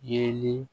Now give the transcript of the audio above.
Yeelen